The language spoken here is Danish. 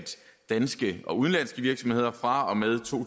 danske og udenlandske virksomheder fra og med to